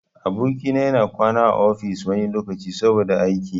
Aboki na ya na kwana a ofis wani lokaci, saboda aiki.